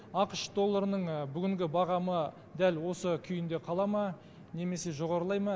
ақш долларының бүгінгі бағамы дәл осы күйінде қала ма немесе жоғарылай ма